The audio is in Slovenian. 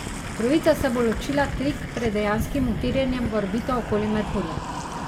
Trojica se bo ločila tik pred dejanskim utirjenjem v orbito okoli Merkurja.